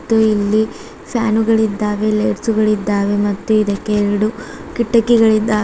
ಇಲ್ಲಿ ಫ್ಯಾನುಗಳಿದ್ದಾವೆ ಲೈಟ್ಸ್ ಗಳಿದ್ದಾವೆ ಮತ್ತು ಇದಕ್ಕೆ ಎರಡು ಕಿಟಕಿಗಳು ಇದ್ದಾವೆ.